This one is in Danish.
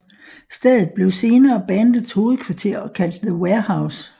Stedet blev senere bandets hovedkvarter og kaldt The Warehouse